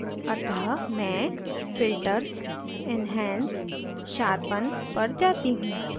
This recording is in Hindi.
अतः मैं filters enhance sharpen पर जाती हूँ